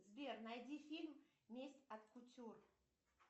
сбер найди фильм месть от кутюр